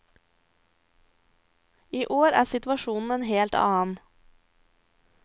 I år er situasjonen en helt annen.